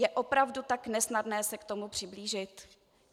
Je opravdu tak nesnadné se k tomu přiblížit?